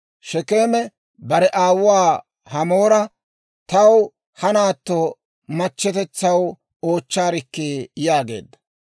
Shekeeme bare aawuwaa Hamoora, «Taw ha naatto machchetetsaw oochchaarikki» yaageedda.